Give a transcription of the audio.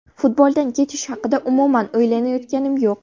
Futboldan ketish haqida umuman o‘ylayotganim yo‘q.